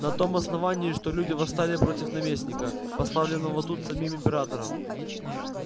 на том основании что люди восстали против наместника поставленного тут самим императором